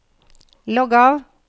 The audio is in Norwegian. logg av